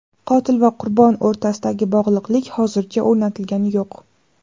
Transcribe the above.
Qotil va qurbon o‘rtasidagi bog‘liqlik hozircha o‘rnatilgani yo‘q.